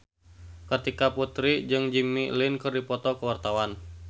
Kartika Putri jeung Jimmy Lin keur dipoto ku wartawan